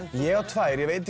ég á tvær ég veit